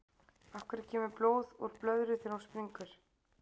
af hverju kemur blóð úr blöðru þegar hún springur